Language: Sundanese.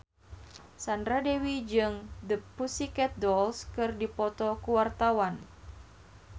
Sandra Dewi jeung The Pussycat Dolls keur dipoto ku wartawan